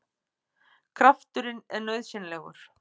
Krafturinn er nauðsynlegur!